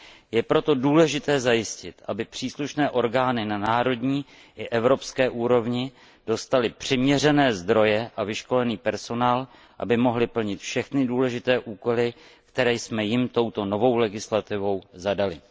Je proto důležité zajistit, aby příslušné orgány na národní i evropské úrovni dostaly přiměřené zdroje a vyškolený personál, aby mohly plnit všechny důležité úkoly, které jsme jim touto novou legislativou zadali.